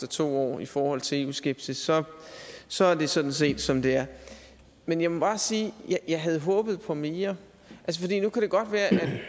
to år i forhold til eu skepsis så så er det sådan set som det er men jeg må bare sige at jeg havde håbet på mere